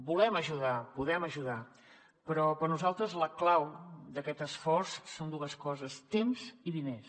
volem ajudar podem ajudar però per nosaltres la clau d’aquest esforç són dues coses temps i diners